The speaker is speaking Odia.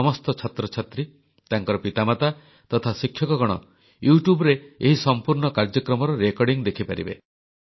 ସମସ୍ତ ଛାତ୍ରଛାତ୍ରୀ ତାଙ୍କର ପିତାମାତା ତଥା ଶିକ୍ଷକଗଣ Youtubeରେ ଏହି ସମ୍ପୂର୍ଣ୍ଣ କାର୍ଯ୍ୟକ୍ରମର ରେକର୍ଡିଂ ଦେଖିପାରିବେ